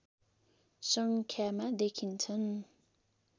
सङ्ख्यामा देखिन्छन्